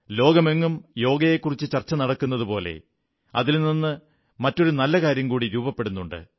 ലോകമെങ്ങും യോഗയെക്കുറിച്ചു ചർച്ച നടക്കുന്നതുപോലെ അതിൽ നിന്ന് മറ്റൊരു നല്ല കാര്യം കൂടി രൂപപ്പെടുന്നുണ്ട്